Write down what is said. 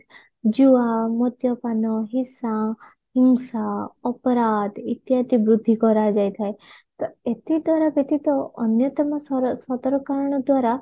ଜୁଆ ମଦ୍ୟପାନ ହିସା ହିଂସା ଅପରାଧ ଇତ୍ୟାଦି ବୃଦ୍ଧି କରାଯାଇଥାଏ ତ ଏତତ ଦ୍ଵାରା ବ୍ୟତୀତ ଅନ୍ୟତମ ସର ସଦରକଣ ଦ୍ଵାରା